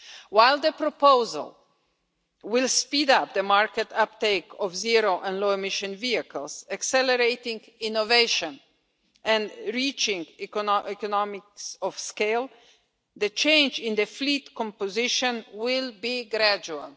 While the proposal will speed up the market uptake of zero and low emission vehicles, accelerating innovation and reaching economies of scale, the change in the fleet composition will be gradual.